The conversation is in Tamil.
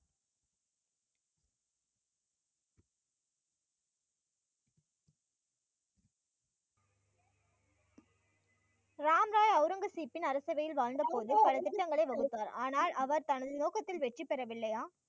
ராம்ராய் அவுரங்கசீப்பின் அரசவையில் வாழ்ந்த போது பல திட்டங்களை வகுத்தார் ஆனால் அவர் தனது நோக்கத்தில் வெற்றி பெறவில்லையா